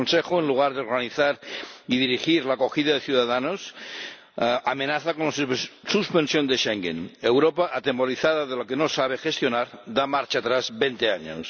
El Consejo, en lugar de organizar y dirigir la acogida de ciudadanos, amenaza con la suspensión de Schengen. Europa, atemorizada de lo que no sabe gestionar, da marcha atrás veinte años.